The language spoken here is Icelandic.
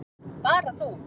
Bara þú.